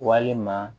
Walima